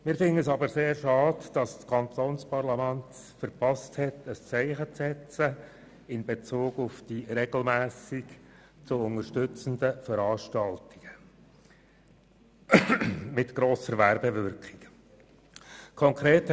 Wir finden es aber sehr schade, dass das Kantonsparlament es verpasst hat, in Bezug auf die regelmässig zu unterstützenden Veranstaltungen mit grosser Werbewirkung ein Zeichen zu setzen.